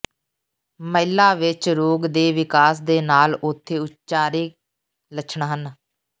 ਮਹਿਲਾ ਵਿੱਚ ਰੋਗ ਦੇ ਵਿਕਾਸ ਦੇ ਨਾਲ ਉਥੇ ਉਚਾਰੇ ਲੱਛਣ ਹਨ